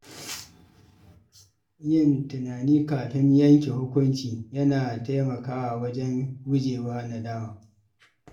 Yin tunani kafin yanke hukunci yana taimakawa wajen gujewa nadama.